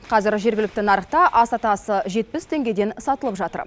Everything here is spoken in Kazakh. қазір жергілікті нарықта ас атасы жетпіс теңгеден сатылып жатыр